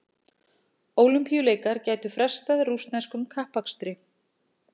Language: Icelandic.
Ólympíuleikar gætu frestað rússneskum kappakstri